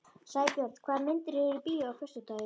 Sæbjörn, hvaða myndir eru í bíó á föstudaginn?